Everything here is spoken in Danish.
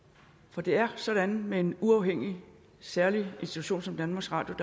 for det er sådan med en uafhængig særlig institution som danmarks radio